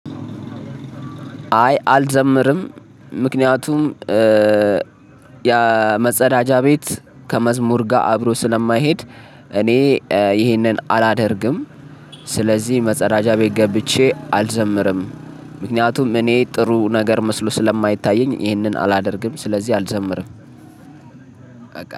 አይ አልዘምርም ምክንያቱም የመጸዳጃ ቤት ከመዝሙር ጋር አብሮ ስለማይሄድ እኔ ይሄንን አላደርግም ስለዚህ መጸዳጃ ቤት ገብቼ አልዘምርም ምክንያቱም እኔ ጥሩ ነገር መስሎ ስለማይታየኝ ይህንን አላደርግም ስለዚህ አልዘምርም።